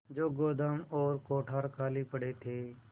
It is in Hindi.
जो गोदाम और कोठार खाली पड़े थे